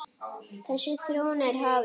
Þessi þróun er hafin.